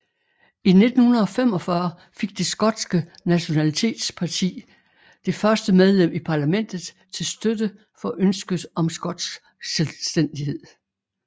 I 1945 fik Det skotske nationalitetsparti det første medlem i parlamentet til støtte for ønsket om skotsk selvstændighed